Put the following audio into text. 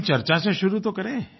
लेकिन चर्चा से शुरू तो करें